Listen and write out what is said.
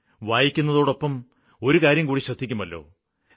വായിക്കുന്നതോടൊപ്പം ഒരുകാര്യംകൂടി ശ്രദ്ധിക്കുമല്ലോ